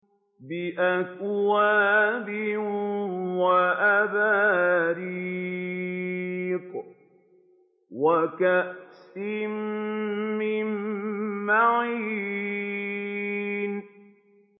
بِأَكْوَابٍ وَأَبَارِيقَ وَكَأْسٍ مِّن مَّعِينٍ